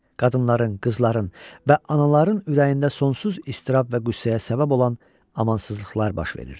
Qadınların, qızların və anaların ürəyində sonsuz istirab və qüssəyə səbəb olan amansızlıqlar baş verirdi.